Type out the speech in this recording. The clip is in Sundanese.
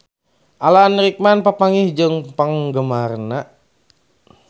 Alan Rickman papanggih jeung penggemarna